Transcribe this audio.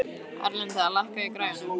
Erlinda, lækkaðu í græjunum.